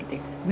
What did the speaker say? Mütləqdir.